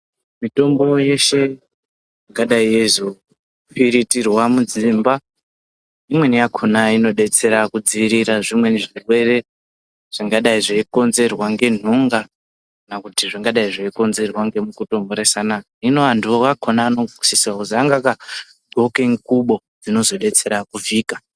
Mitombo yeshe yakadai yeyizofiritirwa mudzimba imweni yakona inodetsera kudziirira zvimweni zvirwere zvingadai zveikonzerwa ngenhunga kana kuti zvingadai zveikonzerwa ngemukuto mhoresana hino anduwo akona anokusisa kozi anenge aka gqoke ngubo dzinozobetsera kuvhika.